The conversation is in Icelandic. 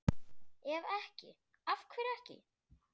Ef ekki, AF HVERJU EKKI?